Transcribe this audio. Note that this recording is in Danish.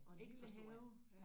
Og en lille have?